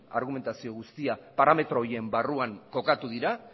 argumentazio guztia parametro horien barruan kokatu dira